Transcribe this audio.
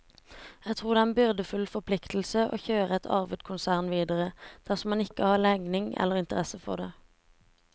Jeg tror det er en byrdefull forpliktelse å kjøre et arvet konsern videre, dersom man ikke har legning eller interesse for det.